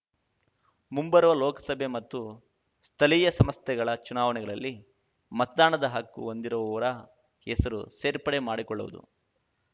ಮುಂಬರುವ ಲೋಕಸಭೆ ಮತ್ತು ಸ್ಥಳೀಯ ಸಂಸ್ಥೆಗಳ ಚುನಾವಣೆಗಳಲ್ಲಿ ಮತದಾನದ ಹಕ್ಕು ಹೊಂದಿರುವವರ ಹೆಸರು ಸೇರ್ಪಡೆ ಮಾಡಿಕೊಳ್ಳುವುದು